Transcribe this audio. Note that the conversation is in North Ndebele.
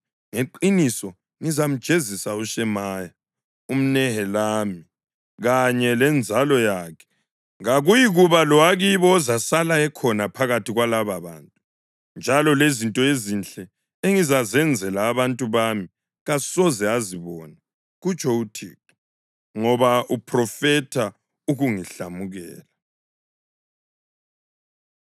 ngeqiniso ngizamjezisa uShemaya umNehelami kanye lenzalo yakhe. Kakuyikuba lowakibo ozasala ekhona phakathi kwalababantu, njalo lezinto ezinhle engizazenzela abantu bami kasoze azibone, kutsho uThixo, ngoba uphrofetha ukungihlamukela.’ ”